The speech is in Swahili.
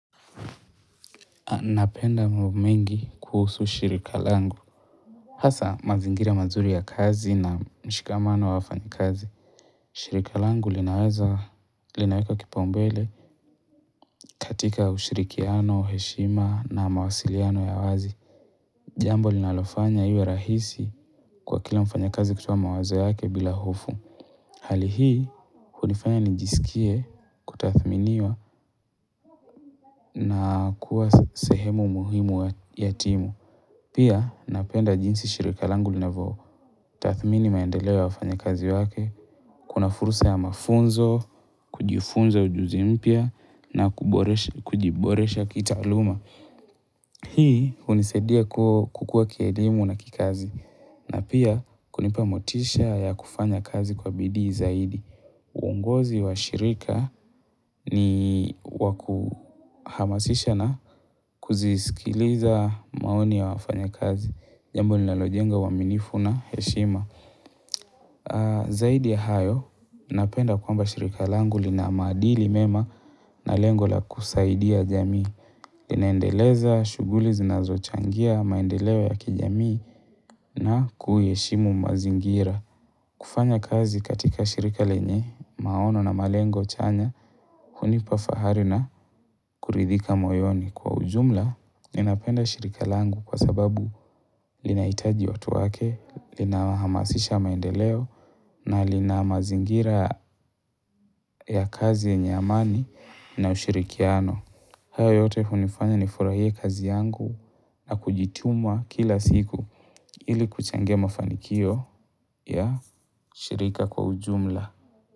Napenda mambo mengi kuhusu shirika langu. Hasa mazingira mazuri ya kazi na mshikamano wa wafanyikazi. Shirika langu linaweza, linaweka kipaumbele katika ushirikiano, heshima na mawasiliano ya wazi. Jambo linalofanya iwe rahisi kwa kila mfanyakazi kutoa mawazo yake bila hofu. Hali hii, hunifanya njisikie kutathminiwa na kuwa sehemu muhimu ya timu. Pia napenda jinsi shirika langu linavyo. Tathmini maendeleo ya wafanyakazi wake, kuna fursa ya mafunzo, kujifunza ujuzi mpyia na kujiboresha kitaaluma. Hii hunisaidia kukuwa kielimu na kikazi na pia kunipa motisha ya kufanya kazi kwa bidii zaidi. Uongozi wa shirika ni wa kuhamasisha na kuzisikiliza maoni ya wafanyakazi. Jambo linalojenga uaminifu na heshima. Zaidi ya hayo, napenda kwamba shirika langu lina maadili mema na lengo la kusaidia jamii. Linaendeleza shughuli zinazochangia, maendeleo ya kijamii na kuiheshimu mazingira. Kufanya kazi katika shirika lenye, maono na malengo chanya, hunipa fahari na kuridhika moyoni. Kwa ujumla, ninapenda shirika langu kwa sababu linahitaji watu wake, linahamasisha maendeleo, na lina mazingira ya kazi yenye amani na ushirikiano. Hayo yote hunifanya nifurahie kazi yangu na kujituma kila siku ili kuchangia mafanikio ya shirika kwa ujumla.